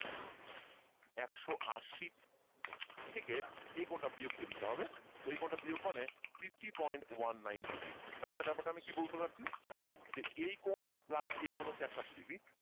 একশ আশি থেকে এই কোণ টা বিয়োগ দিয়ে দিতে হবে তো এই কোণটা বিয়োগ মানে fifty point one nine degree তার মানে ব্যাপারটা আমি কি বলতে চাচ্ছি যে এই কোণ plus এই কোণ হচ্ছে একশ আশি degree